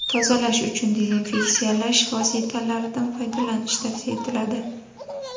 Tozalash uchun dezinfeksiyalash vositalaridan foydalanish tavsiya etiladi.